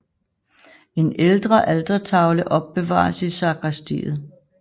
En ældre altertavle opbevares i sakristiet